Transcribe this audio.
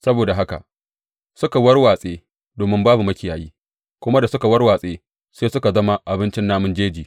Saboda haka suka warwatse domin babu makiyayi, kuma da suka warwatsu sai suka zama abincin namun jeji.